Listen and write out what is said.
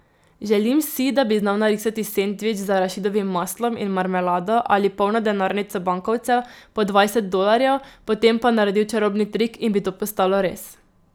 Želim si, da bi znal narisati sendvič z arašidovim maslom in marmelado ali polno denarnico bankovcev po dvajset dolarjev, potem pa naredil čarobni trik in bi to postalo res.